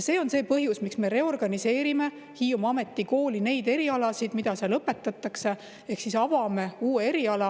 See on põhjus, miks me reorganiseerime Hiiumaa Ametikooli erialasid, mida seal õpetatakse, ehk avame uue eriala.